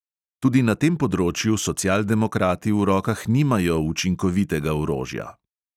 Tudi na tem področju socialdemokrati v rokah nimajo učinkovitega orožja.